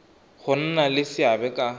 go nna le seabe ka